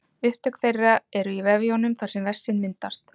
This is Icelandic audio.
Upptök þeirra eru í vefjunum þar sem vessinn myndast.